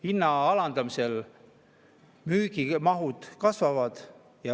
Hinna alandamisel müügimahud kasvavad.